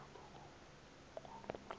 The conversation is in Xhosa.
apha komkhulu xa